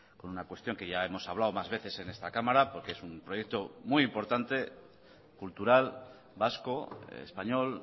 con una cuestión que ya hemos hablado más veces en esta cámara porque es un proyecto muy importante cultural vasco español